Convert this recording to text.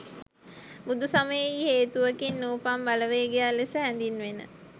බුදු සමයෙහි හේතුවකින් නූපන් බලවේගයක් ලෙස හැඳින්වෙන